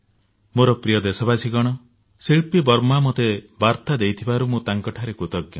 ମୋର ପ୍ରିୟ ଦେଶବାସୀଗଣ ଶିଳ୍ପୀ ବର୍ମା ମୋତେ ବାର୍ତ୍ତା ଦେଇଥିବାରୁ ମୁଁ ତାଙ୍କଠାରେ କୃତଜ୍ଞ